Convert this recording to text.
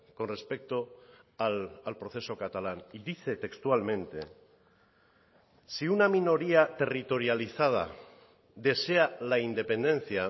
con respecto al proceso catalán y dice textualmente si una minoría territorializada desea la independencia